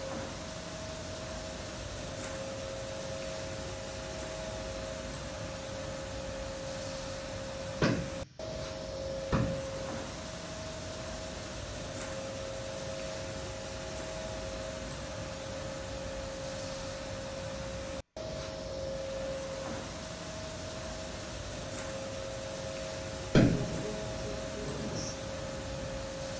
nezikroba zomgangatho wokukhukulisa